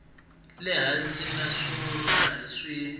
le hansi naswona a swi